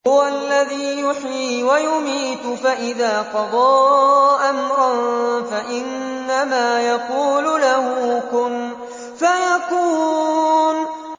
هُوَ الَّذِي يُحْيِي وَيُمِيتُ ۖ فَإِذَا قَضَىٰ أَمْرًا فَإِنَّمَا يَقُولُ لَهُ كُن فَيَكُونُ